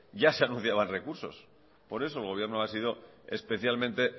ya se anunciaban recursos por eso el gobierno ha sido especialmente